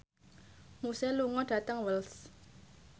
Muse lunga dhateng Wells